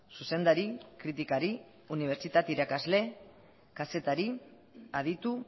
zuzendari kritikari unibertsitate irakasle kazetari aditu